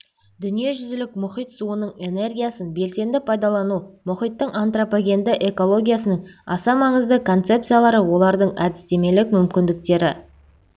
дүниежүзілік мұхит суының энергиясын белсенді пайдалану мұхиттың антропогенді экологиясының аса маңызды концепциялары олардың әдістемелік мүмкіндіктері